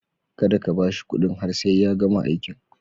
Kada ka ba shi kuɗin har sai ya gama aikin.